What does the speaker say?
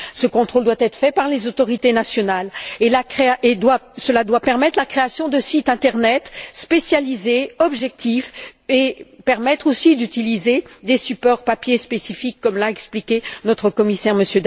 Ce contrôle doit être effectué par les autorités nationales et il doit permettre la création de sites Internet spécialisés, objectifs, et permettre aussi d'utiliser des supports papier spécifiques comme l'a expliqué notre commissaire, M.